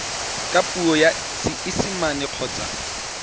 ka puo ya seesimane kgotsa